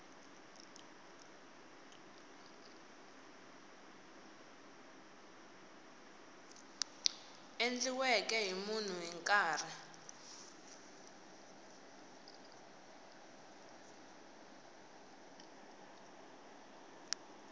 endliweke hi munhu hi nkarhi